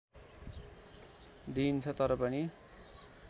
दिइन्छ तर पनि